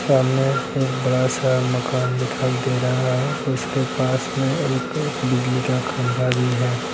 सामने एक बहुत बड़ा सा मकान दिखाई दे रहा है। उसके पास में एक बिजली का खंबा भी है।